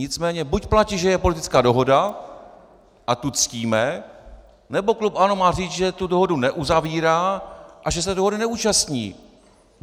Nicméně buď platí, že je politická dohoda a tu ctíme, nebo klub ANO má říci, že tu dohodu neuzavírá a že se dohody neúčastní.